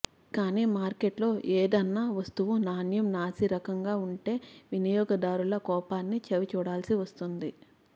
కాని మార్కెట్లో ఏద న్నా వస్తువు నాణ్యం నాసి రకంగా వుంటే విని యోగదారుల కోపాన్ని చవి చూడాల్సి వస్తుంది